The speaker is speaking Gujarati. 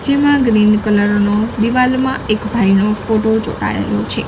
જેમા ગ્રીન કલર નુ દીવાલમાં એક ભાઈનો ફોટો ચોટાળેલો છે.